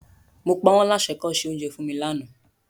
Mo pa wọ́n láṣẹ kọ́ se oúnjẹ fún mi lánàá.